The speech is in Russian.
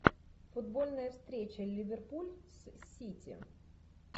футбольная встреча ливерпуль с сити